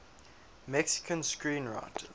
mexican screenwriters